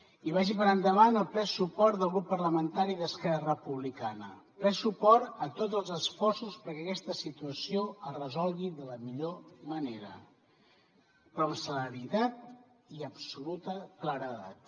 i vagi per endavant el ple suport del grup parlamentari d’esquerra republicana ple suport a tots els esforços perquè aquesta situació es resolgui de la millor manera però amb celeritat i amb absoluta claredat